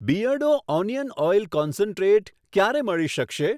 Beardo onion oil concentrate ક્યારે મળી શકશે?